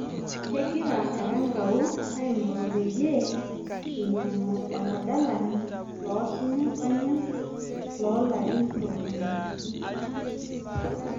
Kegira Erankau aing'oru peyie einyang'u oladalani loosinya panian loo larin ntomoni uni